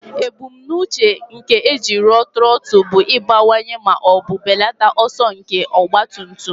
Ebumnuche nke eji rụọ trọtụl bụ ịbawanye ma ọ bụ belata ọsọ nke ọgba tum tum.